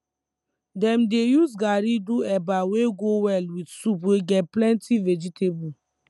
dem dey use garri do eba wey go well with soup wey get plenty vegetable